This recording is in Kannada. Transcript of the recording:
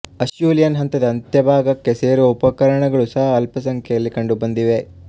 ಅಷ್ಯೂಲಿಯನ್ ಹಂತದ ಅಂತ್ಯಭಾಗಕ್ಕೆ ಸೇರುವ ಉಪಕರಣಗಳು ಸಹ ಅಲ್ಪಸಂಖ್ಯೆಯಲ್ಲಿ ಕಂಡುಬಂದಿವೆ